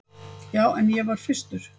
Já, en ég var fyrstur.